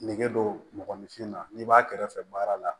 Nege don mɔgɔninfin na n'i b'a kɛrɛfɛ baara la